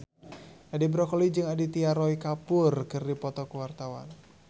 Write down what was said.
Edi Brokoli jeung Aditya Roy Kapoor keur dipoto ku wartawan